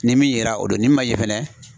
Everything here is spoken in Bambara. Ni min yera o do ni min man ye fɛnɛ